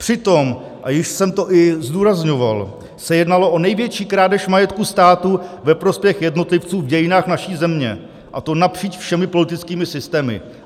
Přitom, a již jsem to i zdůrazňoval, se jednalo o největší krádež majetku státu ve prospěch jednotlivců v dějinách naší země, a to napříč všemi politickými systémy.